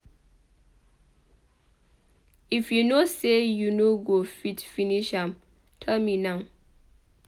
If you no say you no go fit finish am tell me now.